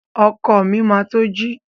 Ọkọ mi máa to ji.